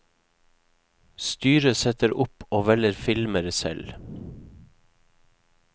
Styret setter opp og velger filmer selv.